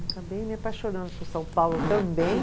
Acabei me apaixonando por São Paulo também.